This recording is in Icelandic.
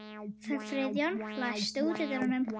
Friðjón, læstu útidyrunum.